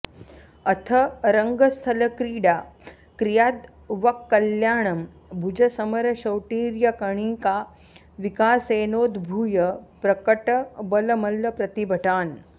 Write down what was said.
अथ रङ्गस्थलक्रीडा क्रियाद् वः कल्याणं भुजसमरशौटीर्यकणिका विकासेनोद्भूय प्रकटबलमल्लप्रतिभटान्